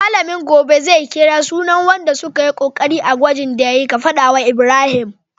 Mallamin gobe zai kira sunan wanda sukayi kokari a gwajin da yayi, ka fada wa Ibrahim